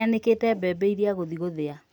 Nĩanĩkĩte mbembe iria agũthii gũthĩa